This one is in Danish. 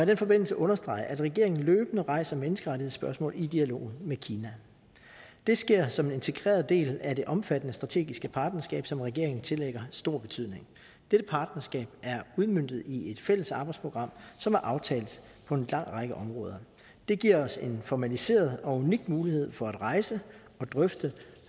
den forbindelse understrege at regeringen løbende rejser menneskerettighedsspørgsmål i dialog med kina det sker som en integreret del af det omfattende strategiske partnerskab som regeringen tillægger stor betydning dette partnerskab er udmøntet i et fælles arbejdsprogram som er aftalt på en lang række områder det giver os en formaliseret og unik mulighed for at rejse og drøfte